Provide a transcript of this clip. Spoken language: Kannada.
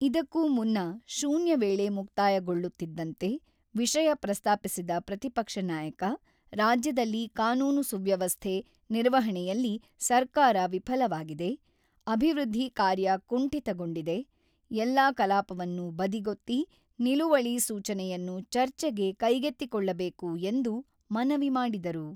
ಇದಕ್ಕೂ ಮುನ್ನ ಶೂನ್ಯ ವೇಳೆ ಮುಕ್ತಾಯಗೊಳ್ಳುತ್ತಿದ್ದಂತೆ, ವಿಷಯ ಪ್ರಸ್ತಾಪಿಸಿದ ಪ್ರತಿಪಕ್ಷ ನಾಯಕ, ರಾಜ್ಯದಲ್ಲಿ ಕಾನೂನು ಸುವ್ಯವಸ್ಥೆ ನಿರ್ವಹಣೆಯಲ್ಲಿ ಸರ್ಕಾರ ವಿಫಲವಾಗಿದೆ, ಅಭಿವೃದ್ಧಿ ಕಾರ್ಯ ಕುಂಠಿತಗೊಂಡಿದೆ, ಎಲ್ಲಾ ಕಲಾಪವನ್ನು ಬದಿಗೊತ್ತಿ ನಿಲುವಳಿ ಸೂಚನೆಯನ್ನು ಚರ್ಚೆಗೆ ಕೈಗೆತ್ತಿಕೊಳ್ಳಬೇಕು ಎಂದು ಮನವಿ ಮಾಡಿದರು.